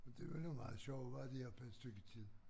Men det var nu meget sjovt at være deroppe et stykke tid